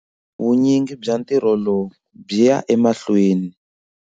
Vunyingi bya ntirho lowu byi ya mahlweni.